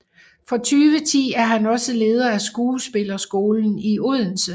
Fra 2010 er han også leder af Skuespillerskolen i Odense